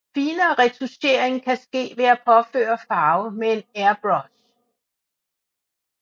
Finere retouchering kan ske ved at påføre farve med en airbrush